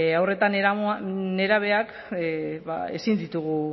haur eta nerabeak ezin ditugu